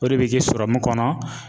O de be kɛ kɔnɔ.